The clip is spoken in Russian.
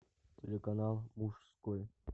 телеканал мужской